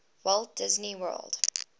walt disney world